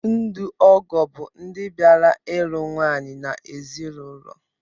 Ndo ọgọ bụ ndị bịara lụọ nwaanyị n'ezinụlọ